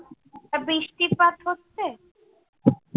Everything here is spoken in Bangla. আর বৃষ্টিপাত হচ্ছে?